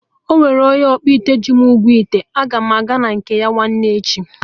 Ọnwere onye ọkpụite ji m ụgwọ ite, aga m aga na nke ya nwanne echi